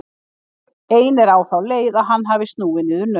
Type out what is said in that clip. Ein er á þá leið að hann hafi snúið niður naut.